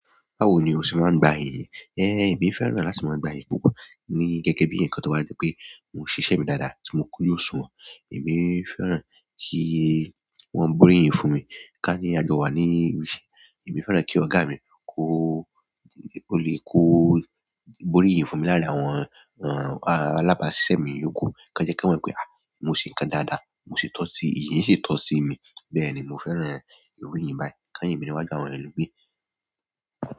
Báwo ni o ṣe máa ń gba iyì? É, èmi fẹ́ràn láti máa gba iyì púpọ̀. Ni gẹ́gẹ́ bi nkan to ba di pe mo sise mi dáadáa ti mo ku yo suwon. Èmi fẹ́ràn kí wọ́n borí iyìn fún mi. Ká ní àjọ wa ní ibiṣẹ́, èmi fẹ́ràn kí ọ̀gá mi kó, ó lè kó borí iyìn fún mi lárin àwọn, àn, alábàáṣiṣẹ́ mi iyòókù kí won jẹ́ kí wọ́n mọ̀ pé, à, mo ṣe ǹkan dáadáa, mo ṣe tọ́ sí, ìyìn ṣe tọ́ sí mi. Bẹ́ẹ̀ ni, mo fẹ́ràn ìrọrí iyìn báyìí. Kán yin mi ni wá ju àwọn ẹlomii.